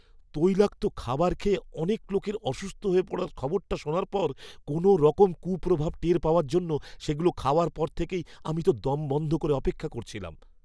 তৈলাক্ত খাবার খেয়ে অনেক লোকের অসুস্থ হয়ে পড়ার খবরটা শোনার পর কোনওরকম কুপ্রভাব টের পাওয়ার জন্য সেগুলো খাওয়ার পর থেকেই আমি তো দম বন্ধ করে অপেক্ষা করছিলাম।